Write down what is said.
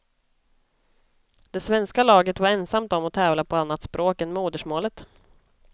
Det svenska laget var ensamt om att tävla på annat språk än modersmålet.